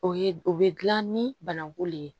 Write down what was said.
O ye o be gilan ni bananku le ye